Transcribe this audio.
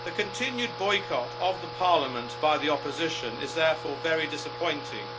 The continued boycott of the parliament by the opposition is therefore very disappointing